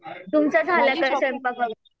तुमचा झाला का स्वयंपाक वगैरे?